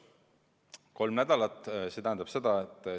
Kolm nädalat!